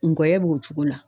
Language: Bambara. Ngɔyɔ b'o cogo la.